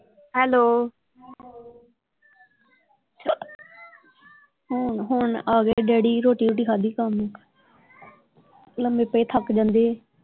Hello ਹੁਣ ਆਗਏ daddy ਰੋਟੀ ਰੂਟੀ ਖਾਦੀ ਕੰਮ ਲੰਮੇ ਪਏ ਥੱਕ ਜਾਂਦੇ।